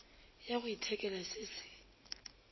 ya go ithekela se se